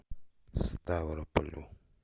ставрополю